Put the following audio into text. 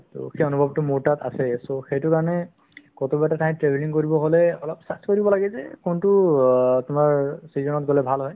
to সেই অনুভৱতো মোৰ তাত আছেয়ে so সেইটো কাৰণে কোনোবা এটা ঠাইত travelling কৰিব হ'লে অলপ search কৰিব লাগে যে কোনতো অ তোমাৰ season ত গ'লে ভাল হয়